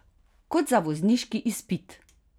Kot za vozniški izpit!